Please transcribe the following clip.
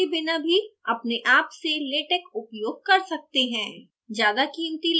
आप texworks के बिना भी अपने आप से latex उपयोग कर सकते हैं